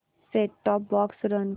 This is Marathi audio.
सेट टॉप बॉक्स रन कर